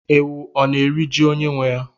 Ewu ọ na-eri ji onye nwe ya?